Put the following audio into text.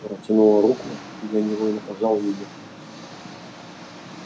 протянула руку и я невольно пожал её